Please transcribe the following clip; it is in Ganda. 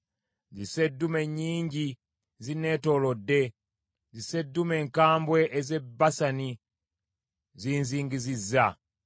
Zisseddume nnyingi zinneetoolodde, zisseddume enkambwe ez’e Basani zinzingizizza.